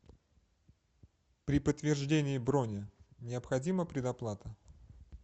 при подтверждении брони необходима предоплата